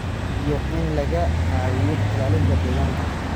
iyo in laga caawiyo ilaalinta deegaanka.